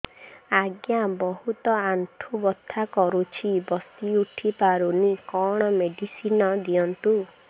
ଆଜ୍ଞା ବହୁତ ଆଣ୍ଠୁ ବଥା କରୁଛି ବସି ଉଠି ପାରୁନି କଣ ମେଡ଼ିସିନ ଦିଅନ୍ତୁ